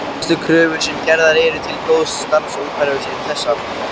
Helstu kröfur sem gerðar eru til góðs starfsumhverfis eru þessar